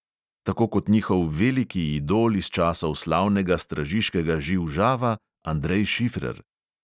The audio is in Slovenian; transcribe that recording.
Tako kot njihov veliki idol iz časov slavnega stražiškega živ žava andrej šifrer.